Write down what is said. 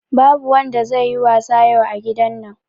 Babu wanda zai yi wasa yau a gidan nan